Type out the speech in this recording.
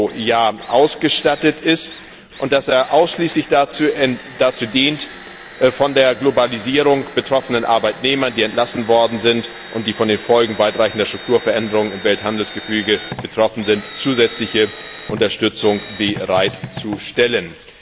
Euro pro Jahr ausgestattet ist und dass er ausschließlich dazu dient, für die von der Globalisierung betroffenen Arbeitnehmer, die entlassen wurden und von den Folgen weitreichender Strukturveränderungen im Welthandelsgefüge betroffen sind, zusätzliche Unterstützung bereitzustellen.